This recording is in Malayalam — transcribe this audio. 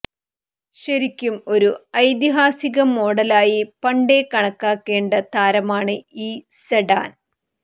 ശരിക്കും ഒരു ഐതിഹാസിക മോഡലായി പണ്ടേ കണക്കാക്കേണ്ട താരമാണ് ഈ സെഡാൻ